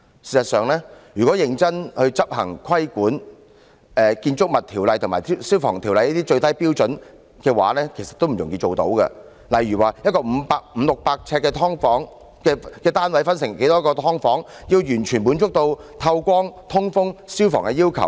事實上，如果認真執行規管，在《建築物條例》及《消防安全條例》下的最低標準，也不容易達到，例如把一個五六百平方呎的單位分成多少個"劏房"，才能完全滿足透光、通風等消防要求？